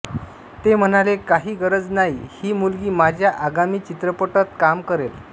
ते म्हणाले काही गरज नाही ही मुलगी माझ्या आगामी चित्रपटत काम करेल